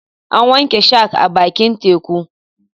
An wanke shark a bakin teku.